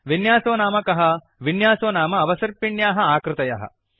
विन्यासो नाम कः विन्यासो नाम अवसर्पिण्याः आकृतयः